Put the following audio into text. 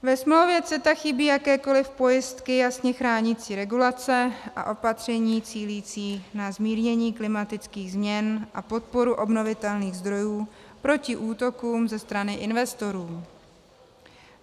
Ve smlouvě CETA chybí jakékoli pojistky jasně chránící regulace a opatření cílící na zmírnění klimatických změn a podporu obnovitelných zdrojů proti útokům ze strany investorů.